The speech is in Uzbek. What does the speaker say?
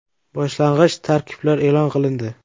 Boshlang‘ich tarkiblar e’lon qilindi.